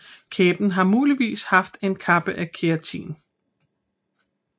Kæben har muligvis haft en kappe af keratin